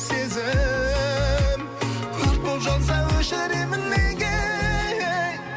сезім өрт боп жанса өшіремін неге